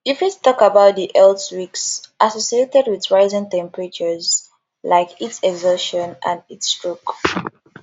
you fit talk about di health risks associated with rising temperatures like heat exhaustion and heat stroke